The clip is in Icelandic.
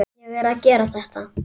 Ég er að gera þetta.